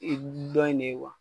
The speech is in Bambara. I dɔn in ne ye wa ?